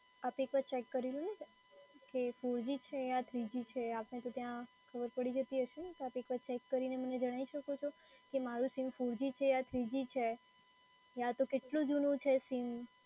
આપ એકવાર ચેક કરી લો કે four g છે યા three g છે? આપને તો ત્યાં ખબર પડી જતી હશેને? તો આપ એકવાર ચેક કરીને મને જણાઈ શકો છો? કે મારું સીમ four g યા three g છે યા તો કેટલું જૂનું છે સીમ?